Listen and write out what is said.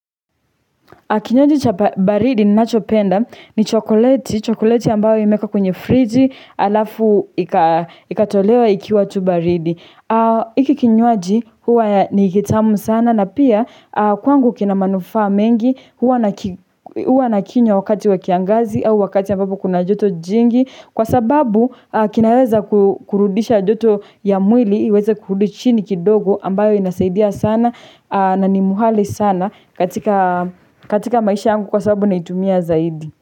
Kinywaji cha baridi ninachopenda ni chokoleti. Chokoleti ambayo imeekwa kwenye friji alafu ikatolewa ikiwa tu baridi. Hiki kinywaji huwa ni ya kitamu sana na pia kwangu kina manufaa mengi huwa nakinywa wakati wakiangazi au wakati ambapo kuna joto jingi. Kwa sababu kinaweza kurudisha joto ya mwili iweze kurudu chini kidogo ambayo inasaidia sana na ni muhali sana katika maisha yangu kwa sababu naitumia zaidi.